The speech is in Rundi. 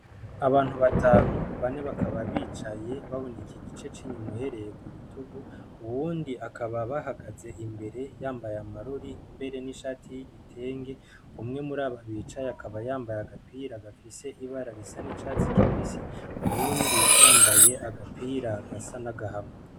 Abantu batanu bane bakaba bicaye baboneka igice c'inyumuhereye ku bitugu uwundi akaba bahagaze imbere yambaye amaruri mbere n'ishati y'igitenge umwe muri ababicaye akaba yambaye agapira gafise ibararisa n'icatsi kibisi uwundi yambaye agapira gasa nagahama.